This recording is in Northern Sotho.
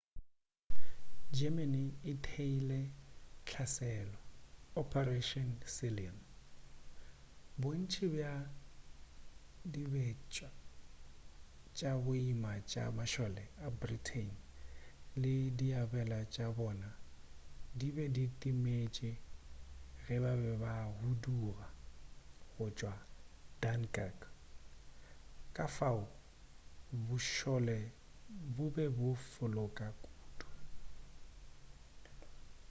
germany e theeile hlaselo operation sealion bontši bja dibetša tša boima tša mašole a britain le diabelwa tša bona di be di timetše ge ba be ba huduga go tšwa dunkirk ka fao bošole bo be bo fokola kudu